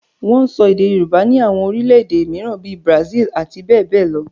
Wọ́n ń sọ èdè Yorùbá ní àwọn orílẹ̀ èdè mìíràn bíi Brazil àti bẹ́ẹ̀ bẹ́ẹ̀ lọ